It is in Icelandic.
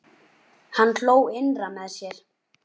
Hann hló innra með sér.